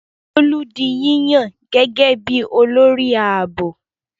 Bólú di yíyàn gẹ́gẹ́ bí i olórí ààbò.